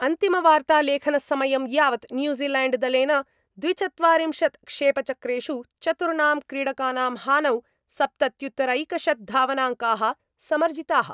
अन्तिमवार्तालेखनसमयं यावत् न्यूजीलैण्डदलेन द्विचत्वारिंशत् क्षेपचक्रेषु चतुर्णां क्रीडकाणां हानौ सप्तत्युत्तरैकशत्धावनाङ्काः समर्जिताः।